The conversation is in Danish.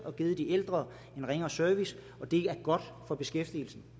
og givet de ældre en ringere service og det er godt for beskæftigelsen